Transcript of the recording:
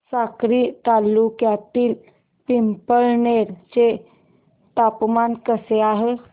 साक्री तालुक्यातील पिंपळनेर चे तापमान कसे आहे